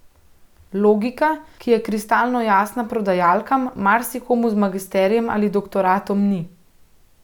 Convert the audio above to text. Logika, ki je kristalno jasna prodajalkam, marsikomu z magisterijem ali doktoratom ni.